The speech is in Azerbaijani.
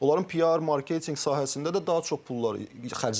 Onların PR, marketinq sahəsində də daha çox pullar xərclənir.